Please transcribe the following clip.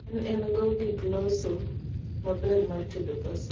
en engo gik loso maber mar tedo pasta